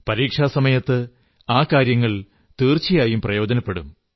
പരീക്ഷാസമയത്ത് ആ കാര്യങ്ങൾ തീർച്ചയായും പ്രയോജനപ്പെടും